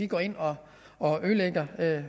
går ind og og ødelægger